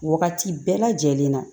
Wagati bɛɛ lajɛlen na